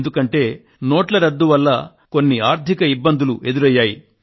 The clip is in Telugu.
ఎందుకంటే నోట్ల రద్దు వల్ల కొన్ని ఆర్థిక ఇబ్బందులు ఎదురయ్యాయి